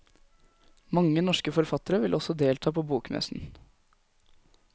Mange norske forfattere vil også delta på bokmessen.